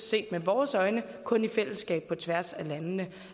set med vores øjne kun i fællesskab på tværs af landene